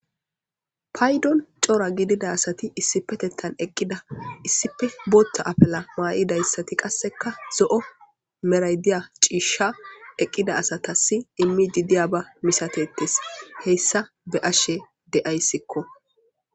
Paydon coora gidida asati issipetettan eqqida issipe boota apela maa'idayssati qasseka zo'o meraydiya ciishsha eqqida asatasi immi di diya ba misatettes heyssa be ashe de'ayssikko.